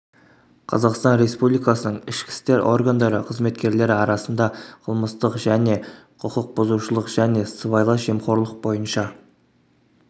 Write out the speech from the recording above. қазақстан респуликасының ішікі істер органдары қызметкерлері арасында қылмыстық және құқық бұзушылық және сыбайлас жемқорлық бойынша